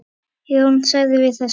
Jón þagði við þessu.